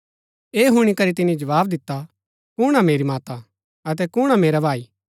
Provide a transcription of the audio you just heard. ऐह हुणी करी तिनी जवाव दिता कुण हा मेरी माता अतै कुण हा मेरा भाई